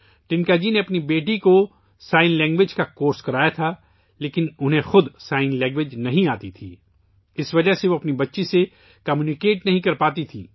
ٹنکا جی نے اپنی بیٹی کو اشاروں کی زبان کا کورس کرایا تھا لیکن وہ خود اشاروں کی زبان نہیں جانتی تھیں، جس کی وجہ سے وہ اپنی بیٹی سے بات چیت نہیں کر پاتی تھیں